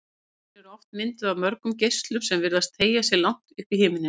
Tjöldin eru oft mynduð af mörgum geislum sem virðast teygja sig langt upp í himininn.